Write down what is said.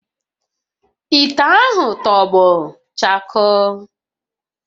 Ite ahụ tọgbọ chakoo